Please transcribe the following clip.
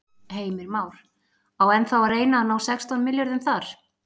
Heimir Már: Á ennþá að reyna að ná sextán milljörðum þar?